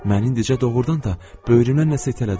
Məni indicə doğurdan da böyrümdən nəsə itələdi.